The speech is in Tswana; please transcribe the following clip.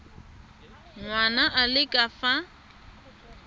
ngwana a le ka fa